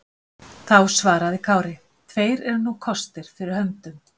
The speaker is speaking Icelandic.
Þá svaraði Kári: Tveir eru nú kostir fyrir höndum.